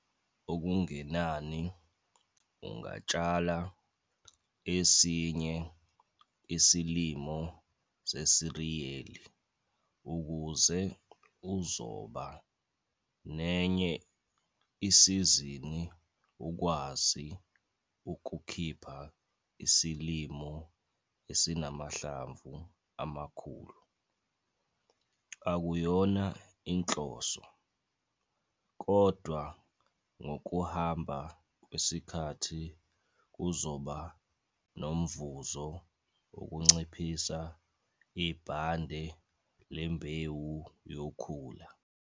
Okungenani ungatshala esinye isilimo sesiriyeli ukuze uzoba nenye isizini ukwazi ukukhipha isilimo esinamahlamvu amakhulu. Ukuyona inhloso, kodwa ngokuhamba kwesikhathi kuzoba nomvuzo ukunciphisa ibhange lembewu yokhula.